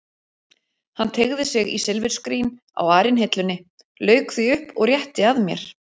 Hann teygði sig í silfurskrín á arinhillunni, lauk því upp og rétti að mér.